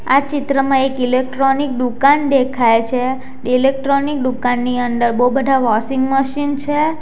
આ ચિત્રમાં એક ઇલેક્ટ્રોનિક દુકાન દેખાય છે. ઇલેક્ટ્રોનિક દુકાનમાં ની અંદર બહુ બધા વોશિંગ મશીન છે.